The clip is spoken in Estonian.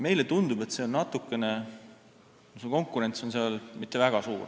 Meile tundub, et konkurents ei ole seal väga suur.